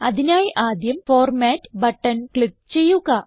അതിനായി ആദ്യം format button click ചെയ്യുക